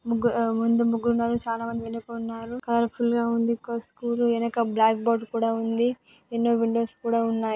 ముగ్గురు ముందున ముగ్గురు నలుగురు చాలా మంది వెనక ఉన్నారు కలర్ ఫుల్ గా ఉంది .ఇక స్కూల్ వెనక బ్లాక్ బోర్డు కూడా ఉంది ఎన్నో విండోస్ కూడా ఉన్నా--